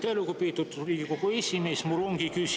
Aitäh, lugupeetud Riigikogu esimees!